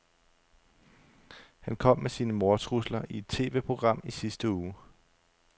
Han kom med sine mordtrusler i et TVprogram i sidste uge.